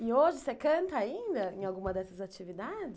E hoje você canta ainda em alguma dessas atividades?